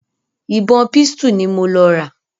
ìbọn pistol ni mo lọ rà.